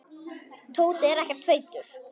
Tóti er ekkert feitur.